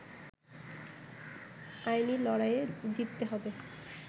আইনি লড়াইয়ে জিততে হবে